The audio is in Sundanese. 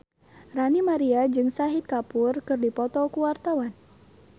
Ranty Maria jeung Shahid Kapoor keur dipoto ku wartawan